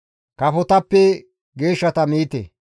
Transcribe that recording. Kafotappe geeshshata miite.